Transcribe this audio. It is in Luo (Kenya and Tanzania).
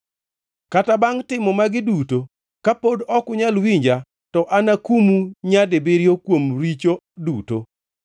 Kata bangʼ timo magi duto kapod ok unyal winja, to anakumu nyadibiriyo kuom richo duto.